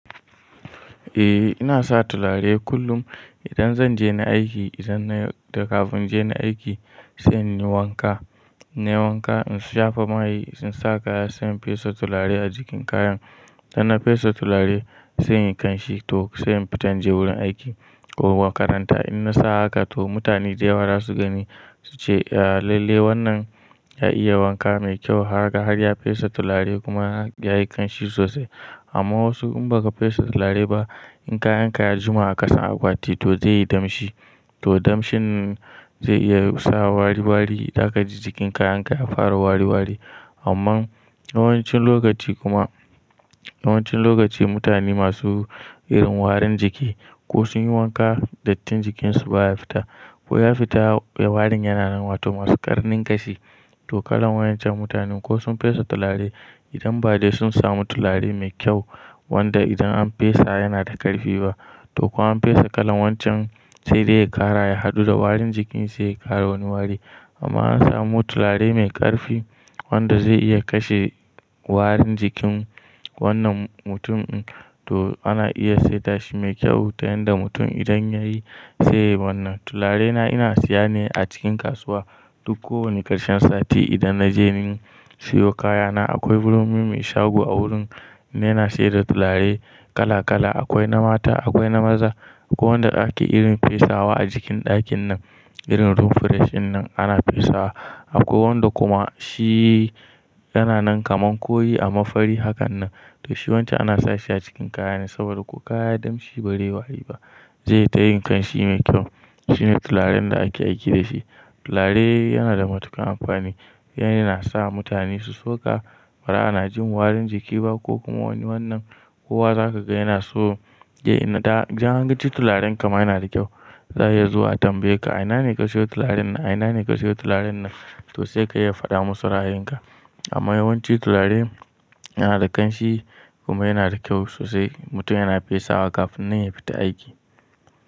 Eh ina sa tulare kullum idan zan je ni aiki, idan na da kafin je ni aiki sai inyi wanka, in na yi wanka in shafa mai in sa kaya sai in fesa tulare a jikin kayan. Da na fesa tulare sai inyi kanshi to sai in fita in je wurin aiki ko makaranta. In na sa haka toh mutane da yawa za su gani su ce ya, lalle wannan ya iya wanka mai kyau kaga har ya fesa tulare kuma yayi kanshi sosai. Amma wasu in ba ka fesa tulare ba in kayanka ya jima a ƙasan akwati to zai yi damshi, to damshin zai iya sa wari wari zaka ji jikin kayanka ya fara wari wari. Amma yawancin lokaci kuma, yawancin lokaci mutane masu irin warin jiki ko sun yi wanka dattin jikinsu baya fita ko ya fita warin yana nan, wato masu ƙarnin gashi to kalan waincan mutanen ko sun fesa tulare idan bade sun samu tulare mai kyau wanda idan an fesa yana da ƙarfi ba to ko an fesa kalan wancan sai dai ya ƙara ya haɗu da warin jikin sai ya ƙara wani wari. Amma an samu tulare mai ƙarfi wanda zai iya kashe warin jikin wannan mutum to ana iya setashi mai kyau ta yanda mutum idan ya yi sai wannan. Tularena ina siya ne a cikin kasuwa duk kowane ƙarshen sati idan na je nin siyo kayana. Akwai wurin mai shago a wurin yena siyar da tulare kala kala. Akwai na mata, akwai na maza akwai wanda ake irin fesawa a jikin ɗakin nan irin room fresh in nan ana fesawa akwai wanda kuma shi yana nan kaman koyi amma fari hakan nan. To shi wancan ana sashi a cikin kayane saboda ko kaya ya damshi bazai yi wari ba zai tayin kanshi mai kyau. Shi ne tularin da ake aiki da shi. Tulare yana da matuƙan amfani. Yana sa mutane su soka baza ana jin warin jiki ba ko kuma wani wannan. Kowa zaka ga yana so ya ina da idan an ji tularen kama yana da kyau. Zai iya zuwa tambaye ka a ina ne ka siyo tularen nan? A ina ne ka siyo tularin nan? To sai ka iya faɗa masu ra'ayin ka. Amma yawanci tulare yana da kanshi kuma yana da kyau sosai. Mutum yana fesa wa kafin nan ya fita aiki.